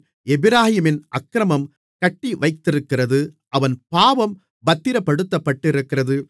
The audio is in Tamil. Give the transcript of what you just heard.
எப்பிராயீமின் அக்கிரமம் கட்டிவைத்திருக்கிறது அவன் பாவம் பத்திரப்படுத்தப்பட்டிருக்கிறது